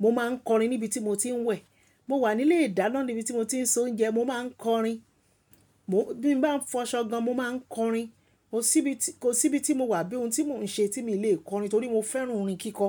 mo máa ń kọrin níbi tí mo ti ń wẹ̀. Mo wà nílé ìdáná níbi tí mo ti ń s'oúnjẹ, mo máa ń kọrin. Mo-- bí n bá ń fọṣọ gan-an, mo máa ń kọrin. Kò síbi tí, kò síbi tí mo wà àbí ohun tí mò ń ṣe tí mi ò lè kọrin, torí mo fẹ́ràn orin kíkọ.